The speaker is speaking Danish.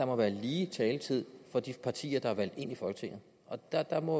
være lige taletid for de partier der er valgt ind i folketinget der der må